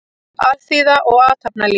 Alþýða og athafnalíf.